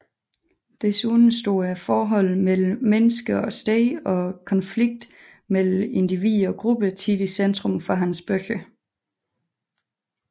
Desuden står forholdet mellem menneske og sted og konflikten mellem individ og gruppe tit i centrum i hans bøger